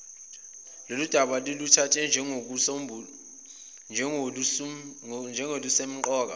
lolundaba niluthathe njengolusemqoka